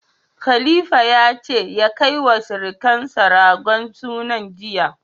Khalifa ya ce ya kai wa sirukansa ragon sunan jiya.